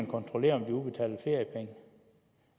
kontrolleres